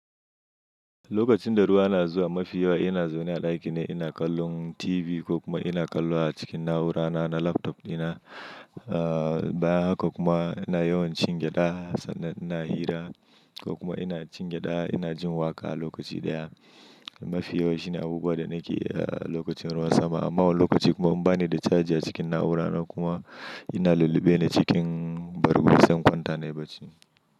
Lokacin da ruwa na zuwa, mafi yawa ina zaune a ɗakina ina kallon TV ko kuma ina kallowa cikin na'ura na na laptop dina. Bayan haka kuma ina yawan cin gyaɗa sannan ina hira ko kuma ina cin gyaɗa ina jin waƙa lokaci ɗaya. Mafi yawa shine abubuwan da nake yi lokacin ruwan sama. Amma wani lokaci kuma in bani da caji cikin na'urana kuma ina lullube ne cikin bargon zan kwanta nai bacci.